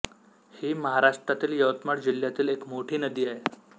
ही महाराष्ट्रातील यवतमाळ जिल्ह्यातील एक मोठी नदी आहे